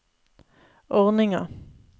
ordninga